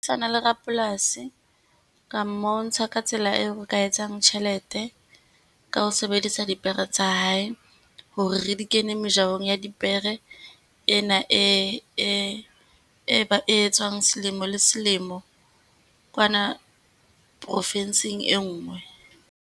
Le rapolasi, ka mmontsha ka tsela eo re ka etsang tjhelete ka ho sebedisa dipere tsa hae, hore re di kenye mejahong ya dipere, ena e e e etswang selemo le selemo kwana profinsing e nngwe.